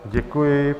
Děkuji.